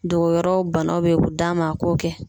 Dogo yɔrɔw banaw be u d'a ma a k'o kɛ